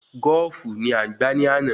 Goofu ni a gbà ni àná